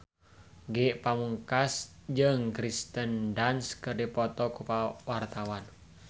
Ge Pamungkas jeung Kirsten Dunst keur dipoto ku wartawan